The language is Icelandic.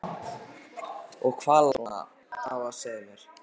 Og hvað lá þér svona á að segja mér?